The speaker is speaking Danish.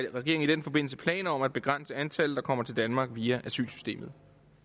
regeringen i den forbindelse planer om at begrænse antallet der kommer til danmark via asylsystemet